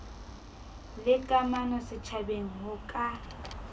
le kamano setjhabeng ho ka